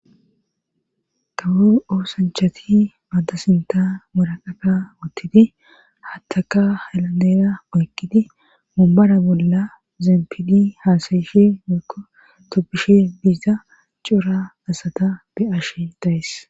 Kawo oosanchati maadasinta muraqaka wuttidi haattaka helanera oykqidi mumbara bolla zeempidi haasayishi murko toppishe biza cuura asata be'ashe dayes